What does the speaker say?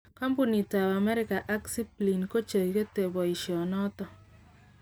Kampunit tab America ak Zipline ko chegete boisho noton.